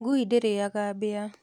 Ngui ndĩrĩaga mbĩa